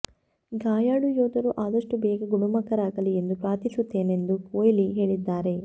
ಗಾಯಾಳು ಯೋಧರು ಆದಷ್ಟು ಬೇಗ ಗುಣಮುಖರಾಗಲಿ ಎಂದು ಪ್ರಾರ್ಥಿಸುತ್ತೇನೆಂದು ಕೊಹ್ಲಿ ಹೇಳಿದ್ದಾರೆ